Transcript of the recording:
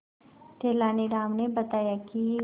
तेनालीराम ने बताया कि